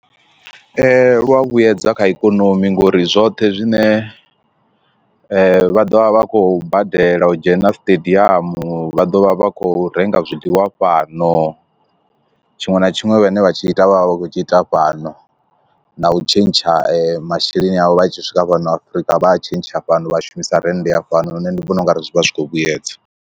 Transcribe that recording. Lu a vhuyedza kha ikonomi ngori zwoṱhe zwine vha ḓovha vha khou badela u dzhena stadium vha ḓovha vha kho renga zwiḽiwa fhano tshiṅwe na tshiṅwe vhane vhatshi ita vhavha vha khou tshi ita fhano na u tshentsha masheleni avho vha tshi swika fhano Afrika vha a tshentsha fhano vha shumisa rennde ya fhano nṋe ndi vhona ungari zwi vha zwi khou vhuyedza.